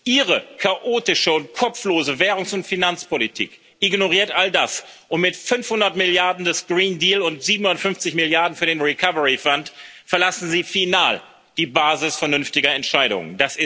Ihre chaotische und kopflose Währungs und Finanzpolitik ignoriert all das, und mit 500 Milliarden des Green Deal und 750 Milliarden für den Recovery Fund verlassen Sie final die Basis vernünftiger Entscheidungen.